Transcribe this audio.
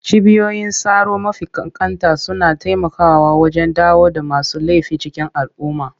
Cibiyoyin tsaro mafi ƙanƙanta suna taimakawa wajen dawo da masu laifi cikin al'umma.